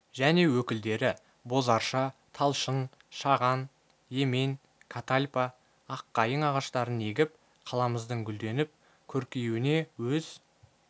және өкілдері боз арша талшын шаған емен катальпа аққайың ағаштарын егіп қаламыздың гүлденіп көркейуіне өз